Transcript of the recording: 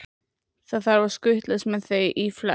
Það þarf að skutlast með þau í flest.